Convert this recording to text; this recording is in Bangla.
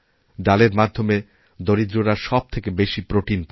ডালের মাধ্যমে দরিদ্ররা সব থেকে বেশি প্রোটিন পায়